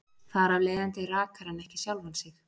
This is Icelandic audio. Þar af leiðandi rakar hann ekki sjálfan sig.